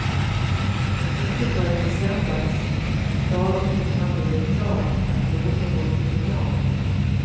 Inte förrän i söndags, dagen innan det blev klart att låten gått till final.